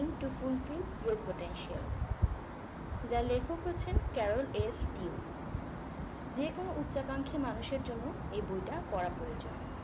to fulfill your potential যার লেখক হচ্ছেন carol s dweck যেকোনো উচ্চাকাঙ্খী মানুষের জন্য এই বইটা পড়া প্রয়োজন